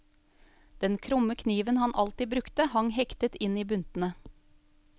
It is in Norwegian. Den krumme kniven han alltid brukte hang hektet inn i buntene.